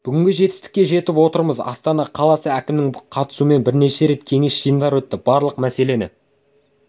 бүгінгі жетістікке жетіп отырмыз астана қаласы әкімінің қатысуымен бірнеше рет кеңес жиындар өтті барлық мәселені